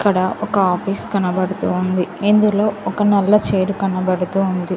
ఇక్కడ ఒక ఆఫీస్ కనబడుతూ ఉంది ఇందులో ఒక నల్ల చైర్ కనబడుతూ ఉంది.